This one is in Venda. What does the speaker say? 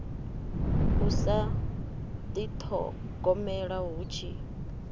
u sa dithogomela hu tshi